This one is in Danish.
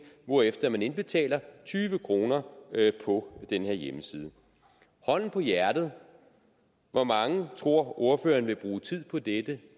hvorefter man indbetaler tyve kroner på den her hjemmeside hånden på hjertet hvor mange tror ordføreren vil bruge tid på dette